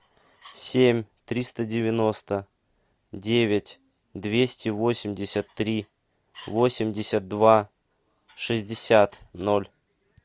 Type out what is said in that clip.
семь триста девяносто девять двести восемьдесят три восемьдесят два шестьдесят ноль